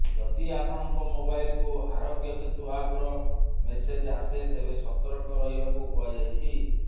ଯଦି ଆପଣଙ୍କ ମୋବାଇଲକୁ ଆରୋଗ୍ୟ ସେତୁ ଆପର ମେସେଜ ଆସେ ତେବେ ସତର୍କ ରହିବାକୁ କୁହାଯାଇଛି